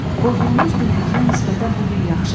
Oğlunuz dünənkinə nisbətən bu gün yaxşıdır.